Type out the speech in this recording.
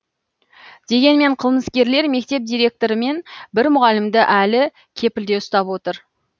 дегенмен қылмыскерлер мектеп директоры мен бір мұғалімді әлі кепілде ұстап отыр